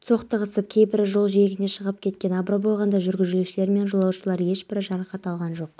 менде жасыл түсті жилет болды ол теңіз суымен түстес келді және қара автомобиь камерасы болды сондықтан мені іздеушілер байқамай қалды деді